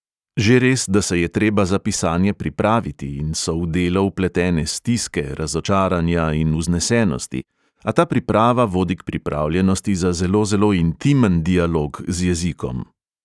Že res, da se je treba za pisanje pripraviti in so v delo vpletene stiske, razočaranja in vznesenosti, a ta priprava vodi k pripravljenosti za zelo zelo intimen dialog z jezikom.